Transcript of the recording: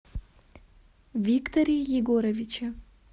викторе егоровиче